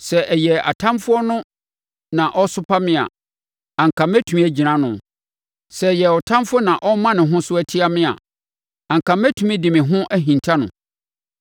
Sɛ ɛyɛɛ ɔtamfoɔ na ɔresopa me a, anka mɛtumi agyina ano; sɛ ɛyɛɛ ɔtamfoɔ na ɔrema ne ho so atia me a, anka mɛtumi de me ho ahinta no.